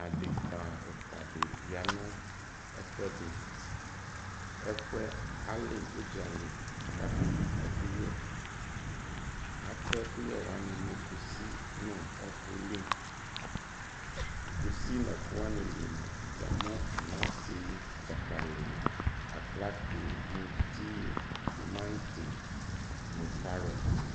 Adeka ɛfua di ya nu ɛfuɛ diƐfuɛ ali udzali kakɛ yi ɛkuyɛAtɛ ɛkuyɛ wani nu kusi li, ɔku li, kusi nu ɛkuwani li mua, ya mu anase, dzakaliaklate, muti, tumanti nu karot